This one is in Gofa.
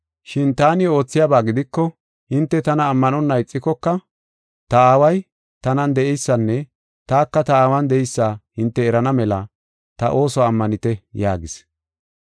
Shin taani oothiyaba gidiko hinte tana ammanonna ixikoka, ta Aaway tanan de7eysanne taka ta Aawan de7eysa hinte erana mela ta oosuwa ammanite” yaagis.